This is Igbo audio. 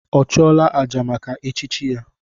Ọ chụọla àjà maka echichi ya?